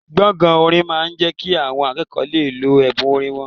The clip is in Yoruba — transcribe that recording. Gbọ̀ngàn orin máa ń jẹ́ kí àwọn akẹ́kọ̀ọ́ lè lo ẹ̀bùn orin wọn